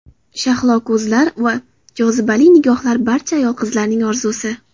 Shahlo ko‘zlar va jozibali nigohlar barcha ayol-qizlarning orzusi.